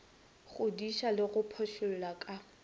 godiša le go phošolla ka